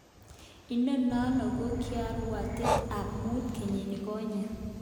Inonon ko kiarawet tab mut kenyinikonye.